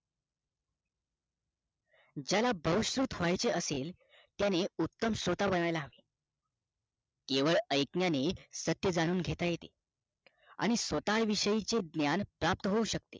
ज्याला बहुश्रुत व्हायचे असेल त्यांनी उत्तम श्रोता बनायला हवे केवळ ऐकण्याने सत्य जाणून घेता येते आणि स्वता विषयी चे ज्ञान प्राप्त होऊ शकते